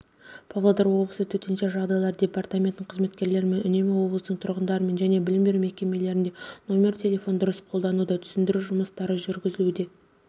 павлодар облысы төтенше жағдайлар департаментінің қызметкерлерімен үнемі облыстың тұрғындарымен және білім беру мекемелерінде нөмірі телефонын дұрыс қолдануда түсіндіру жұмыстары жүргізілуде